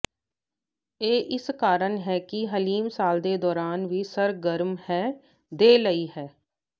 ਇਹ ਇਸ ਕਾਰਨ ਹੈ ਕਿ ਹਲੀਮ ਸਾਲ ਦੇ ਦੌਰਾਨ ਵੀ ਸਰਗਰਮ ਹੈ ਦੇ ਲਈ ਹੈ